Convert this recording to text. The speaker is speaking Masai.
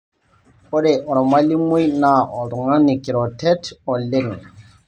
ore olmalimui naa oltung'ani kiroret oleng'